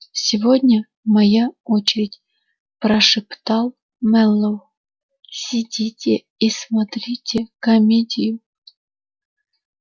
сегодня моя очередь прошептал мэллоу сидите и смотрите комедию